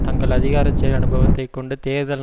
தங்கள் அதிகாரச் செயல் அனுபவத்தைக் கொண்டு தேர்தல்